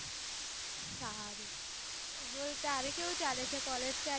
સારું બોલ તારે કેવું ચાલે છે college ક્યારે કરવાની